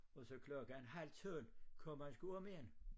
Og så klokken halv 12 kom han sgu om igen